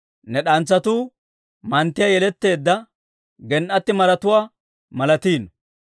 Ne d'antsatuu manttiyaa yeletteedda, gen"ati maratuwaa malatiino.